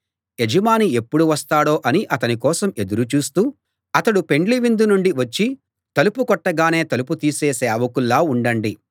యజమాని ఎప్పుడు వస్తాడో అని అతని కోసం ఎదురు చూస్తూ అతడు పెండ్లి విందు నుండి వచ్చి తలుపు కొట్టగానే తలుపు తీసే సేవకుల్లా ఉండండి